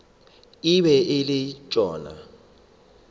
e be e le sona